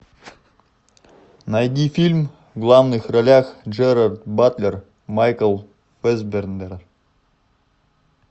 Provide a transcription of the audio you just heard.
найди фильм в главных ролях джерард батлер майкл фассбендер